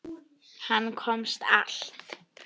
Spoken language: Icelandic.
Hann komst allt.